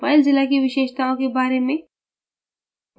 filezilla की विशेषताओं के बारे में